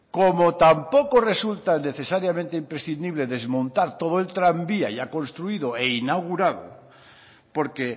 como tampoco resulta necesariamente imprescindible desmontar todo el tranvía ya construido e inaugurado porque